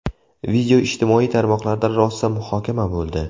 Video ijtimoiy tarmoqlarda rosa muhokama bo‘ldi.